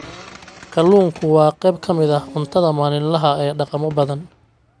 Kalluunku waa qayb ka mid ah cuntada maalinlaha ah ee dhaqamo badan.